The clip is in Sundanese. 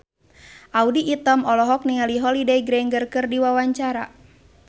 Audy Item olohok ningali Holliday Grainger keur diwawancara